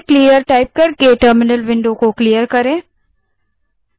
फिर से terminal को clear करने के लिए clear type करें